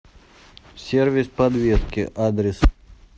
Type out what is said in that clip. сервис подвески адрес